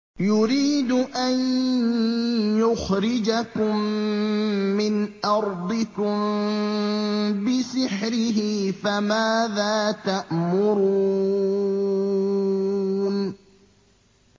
يُرِيدُ أَن يُخْرِجَكُم مِّنْ أَرْضِكُم بِسِحْرِهِ فَمَاذَا تَأْمُرُونَ